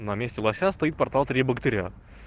на месте лося состоит портал три богатыря